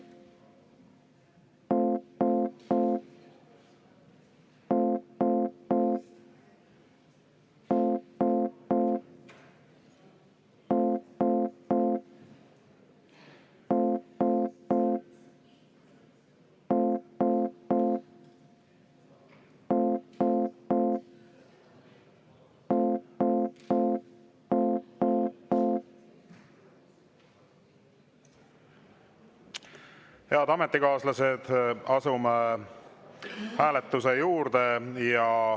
Head ametikaaslased, asume hääletuse juurde.